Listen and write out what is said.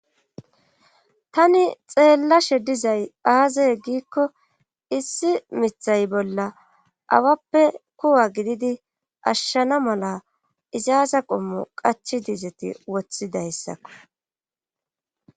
Tani xeellashe dizay aazaye giikko issi mithay bolla awappe kuwa gididi ashshana mala izaaza qommu qachi dizeti woththidayssakko.